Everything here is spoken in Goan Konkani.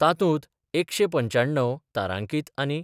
तातूंत एकशे पंच्याण्णव तारांकीत आनी